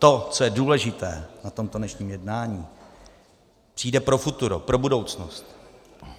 To, co je důležité na tomto dnešním jednání, přijde pro futuro, pro budoucnost.